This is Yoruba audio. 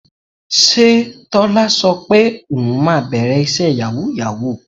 Ṣé Tọ́lá sọ fún ẹ pé òun máa bẹ̀rẹ̀ iṣẹ́ yàwúù-yàwúù?